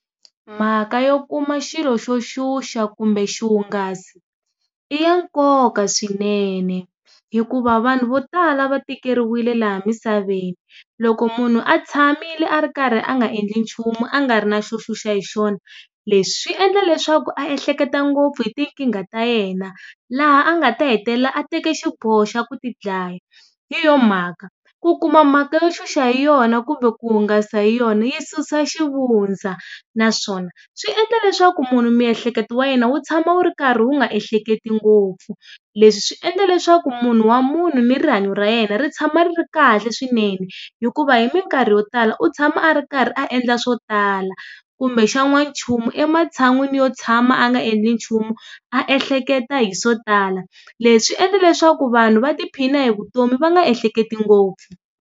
Mhaka yo kuma xilo xo xuxa kumbe xihungasi, i ya nkoka swinene hikuva vanhu vo tala va tikeriwile laha emisaveni. Loko munhu a tshamile a ri karhi a nga endli nchumu a nga ri na xo xuxa hi xona, leswi swi endla leswaku a ehleketa ngopfu hi tinkingha ta yena, laha a nga ta hetelela a teke xiboho xa ku tidlaya. Hi yoho mhaka, ku kuma mhaka yo xuxa hi yona kumbe ku hungasa hi yona yi susa xivundza naswona, swi endla leswaku munhu miehleketo wa yena wu tshama wu karhi wu nga ehleketi ngopfu. Leswi swi endla leswaku munhu wa munhu ni rihanyo ra yena ri tshama ri ri kahle swinene, hikuva hi minkarhi yo tala u tshama a ri karhi a endla swo tala kumbe xan'wana nchumu ematshan'wini yo tshama a nga endli nchumu, a ehleketa hi swo ala. Leswi swi endle leswaku vanhu va tiphina hi vutomi va nga ehleketi ngopfu.